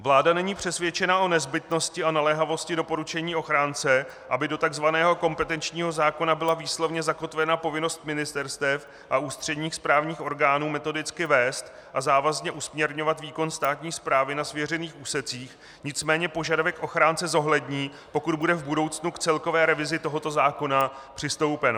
Vláda není přesvědčena o nezbytnosti a naléhavosti doporučení ochránce, aby do tzv. kompetenčního zákona byla výslovně zakotvena povinnost ministerstev a ústředních správních orgánů metodicky vést a závazně usměrňovat výkon státní správy na svěřených úsecích, nicméně požadavek ochránce zohlední, pokud bude v budoucnu k celkové revizi tohoto zákona přistoupeno.